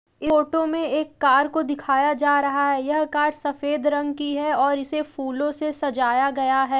Photo में एक car को दिखाया जा रहा है। यह कार सफेद रंग की है और इसे फूलों से सजाया गया है।